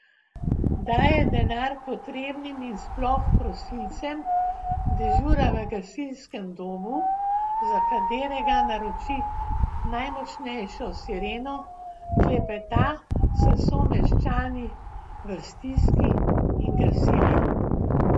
Daje denar potrebnim in sploh prosilcem, dežura v gasilskem domu, za katerega naroči najmočnejšo sireno, klepeta s someščani v stiski in gasili.